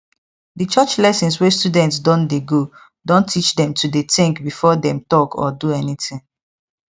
the church lesson wey students don dey go don teach dem to dey think before dem talk or do anything